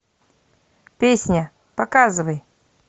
песня показывай